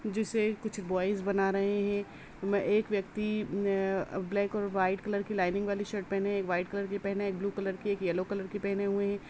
जिसे कुछ बॉइज बना रहे हैं। म-एक व्यक्ति न अ-ब्लैक और व्हाइट कलर की लाईनिंग वाली शर्ट पहने है एक व्हाईट कलर की पहने है ब्लू कलर कि एक येलो की पहने हुए हैं।